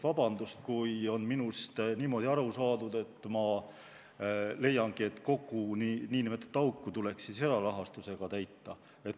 Vabandust, kui on minust niimoodi aru saadud, et ma leiangi, et kogu nn auku tuleks siis erarahastusega täita.